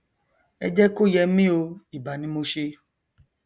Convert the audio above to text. ẹ jẹ kó yẹ mí o ìbà ni mo ṣe